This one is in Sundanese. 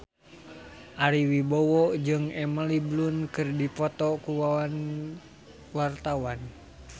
Ari Wibowo jeung Emily Blunt keur dipoto ku wartawan